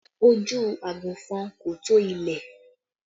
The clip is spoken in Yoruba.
Ojú àgùnfọn kò tó ilẹ̀